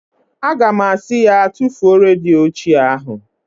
Aga m asị ya, tufuo redio ochie ahụ!